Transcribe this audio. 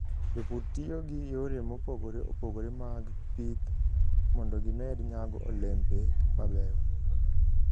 Jopur tiyo gi yore mopogore opogore mag pidh mondo gimed nyago olembe mabeyo.